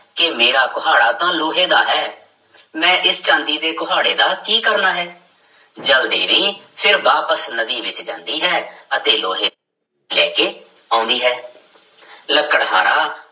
ਕਿ ਮੇਰਾ ਕੁਹਾੜਾ ਤਾਂ ਲੋਹੇ ਦਾ ਹੈ ਮੈਂ ਇਸ ਚਾਂਦੀ ਦੇ ਕੁਹਾੜੇ ਦਾ ਕੀ ਕਰਨਾ ਹੈ, ਜਲ ਦੇਵੀ ਫਿਰ ਵਾਪਿਸ ਨਦੀ ਵਿੱਚ ਜਾਂਦੀ ਹੈ ਅਤੇ ਲੋਹੇ ਲੈ ਕੇ ਆਉਂਦੀ ਹੈ ਲੱਕੜਹਾਰਾ